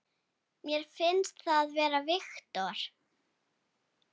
Mér finnst það segir Viktor.